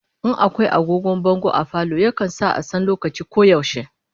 In akwai agogon bango a falo, yakan sa a san lokaci ko yaushe